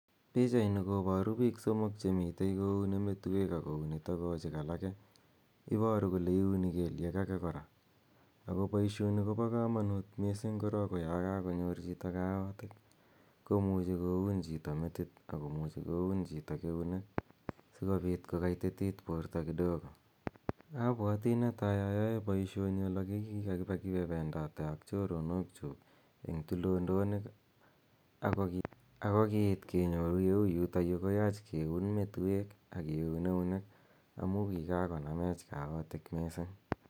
Pichainini koparu piik somok che mitei kouni metuek ako uni togochik alake. Iparu kole iuni keliek ake kora. Ako poishoni ko pa kamanut missing' korok ko ya kakonyor chito kaotiik ko muchi ko un chito metit ako muchi koun chito keliek si kopit kokaititit porto kidogo. Amu netai ayae poishoni ole ki kakipe kependate ak choronokchuk eng' tulodonik ako kiiit kenyoru ye u yutayu koyaach kiun metuek ak kiun eunek amu kikakonamech kaotiik missing'.